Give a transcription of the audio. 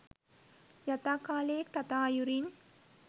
යතා කාලයේ තතා අයුරින්